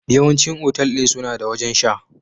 Yawancin otal ɗin suna da wajen sha